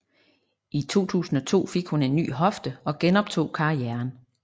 I 2002 fik hun en ny hofte og genoptog karrieren